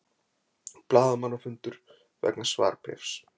Blaðamannafundur vegna svarbréfs